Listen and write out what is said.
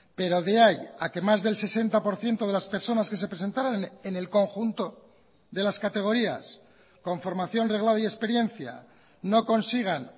pero de ahí a que más del sesenta por ciento de las personas que se presentaron en el conjunto de las categorías con formación reglada y experiencia no consigan